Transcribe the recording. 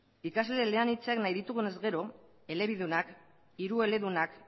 ikasle eleanitzak nahi ditugunez gero elebidunak hirueledunak